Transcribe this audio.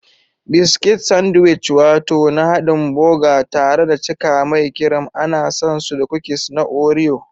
Biscuits Sandwich wato na hadin boga tare da cika mai kirim ana san su da kukis na Oreo.